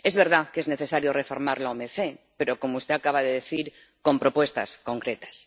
Es verdad que es necesario reformar la OMC, pero, como usted acaba de decir, con propuestas concretas.